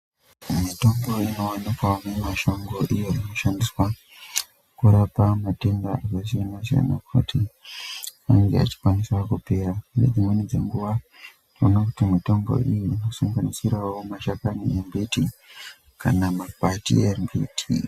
Mitombo inowanikwa mumashango iyo inoshandiswa kurapa matenda akasiyana siyana kuti inenge ichikwanisa kupera ngedzimweni dzenguwa tinoona kuti mitombo iyi inosanganisirawo mashakani embiti kana makwati embiti.